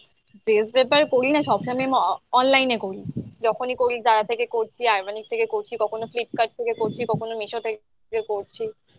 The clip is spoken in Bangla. dress prefer করি না সব সময় online এ করি যখনই করছি Zara থেকে করছি, Armani থেকে করছি, কখনো Flipkart থেকে করছি, কখনো Meesho তে করছি